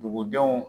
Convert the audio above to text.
Dugudenw